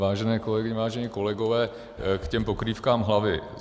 Vážené kolegyně, vážení kolegové, k těm pokrývkám hlavy.